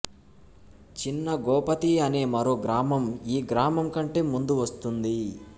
చిన్న గోపతి అనే మరో గ్రామం ఈ గ్రామం కంటే ముందు వస్తుంది